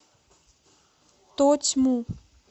тотьму